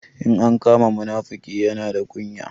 In an kama munafuki, Yana da kunya.